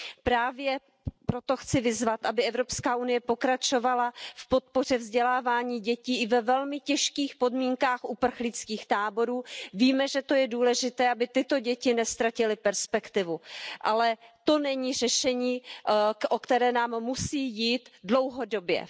Právě proto chci vyzvat, aby EU pokračovala v podpoře vzdělávání dětí i ve velmi těžkých podmínkách uprchlických táborů. Víme, že je to důležité, aby tyto děti neztratily perspektivu, ale není to řešení, o které nám musí jít dlouhodobě.